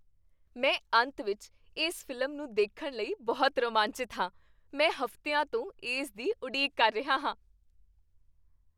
ਮੈਂ ਅੰਤ ਵਿੱਚ ਇਸ ਫ਼ਿਲਮ ਨੂੰ ਦੇਖਣ ਲਈ ਬਹੁਤ ਰੋਮਾਂਚਿਤ ਹਾਂ! ਮੈਂ ਹਫ਼ਤਿਆਂ ਤੋਂ ਇਸ ਦੀ ਉਡੀਕ ਕਰ ਰਿਹਾ ਹਾਂ।